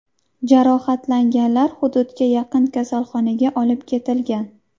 Jarohatlanganlar hududga yaqin kasalxonaga olib ketilgan.